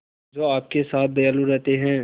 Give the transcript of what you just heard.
जो आपके साथ दयालु रहते हैं